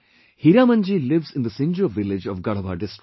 Hiramanji lives in the Sinjo village of Garhwa district